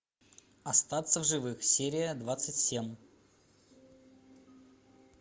остаться в живых серия двадцать семь